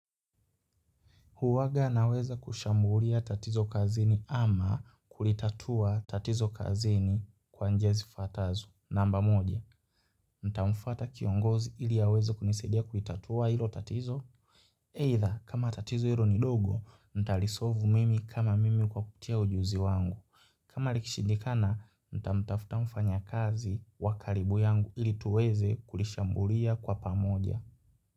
Huwanga naweza kushambulia tatizo kazini ama kulitatua tatizo kazini kwa njia zifuatazo. Namba moja, nitamufuata kiongozi ili aweza kunisadia kulitatua ilo tatizo? Either, kama tatizo hilo ni dogo, ntali solve mimi kama mimi kwa kupitia ujuzi wangu. Kama likishindikana, ntamtafuta mfanyakazi wa karibu yangu ili tuweze kulishambulia kwa pamoja.